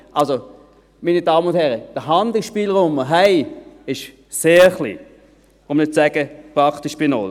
Der Handlungsspielraum, den wir haben, meine Damen und Herren, ist also sehr klein, um nicht zu sagen: praktisch bei null.